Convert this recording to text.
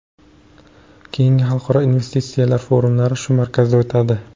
Keyingi xalqaro investitsiya forumlari shu markazda o‘tadi.